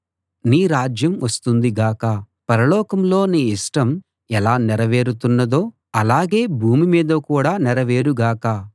నీ రాజ్యం వస్తుంది గాక పరలోకంలో నీ ఇష్టం ఎలా నెరవేరుతున్నదో అలాగే భూమి మీద కూడా నెరవేరు గాక